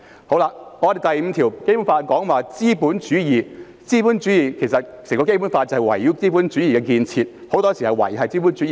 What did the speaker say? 《基本法》第五條提及資本主義，整本《基本法》其實是圍繞資本主義的建設，維繫資本主義。